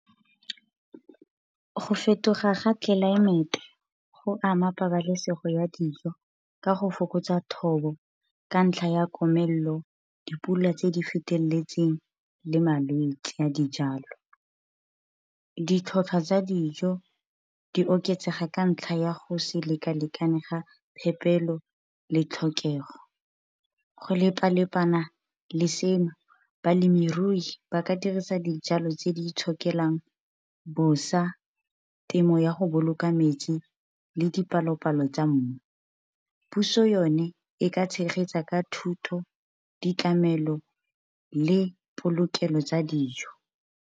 Go fetoga ga tlelaemete go ama pabalesego ya dijo, ka go fokotsa thobo ka ntlha ya komelelo, dipula, tse di feteletseng le malwetse a dijalo. Ditlhwatlhwa tsa dijo di oketsega ka ntlha ya go se lekalekane ga phepelo le tlhokego. Go lepa-lepana le seno balemirui ba ka dirisa dijalo tse di itshokelang bosa, temo ya go boloka metsi, le dipalopalo tsa mmu. Puso yone, e ka tshegetsa ka thuto, ditlamelo, le polokelo tsa dijo.